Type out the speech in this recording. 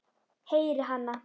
Heyri hana.